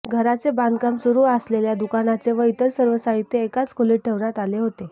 घराचे बांधकाम सुरू आसलेल्या दुकानचे व इतर सर्व साहित्य एकाच खोलीत ठेवण्यात आले होते